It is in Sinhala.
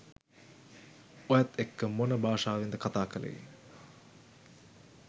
ඔයත් එක්ක මොන භාෂාවෙන්ද කතා කලේ?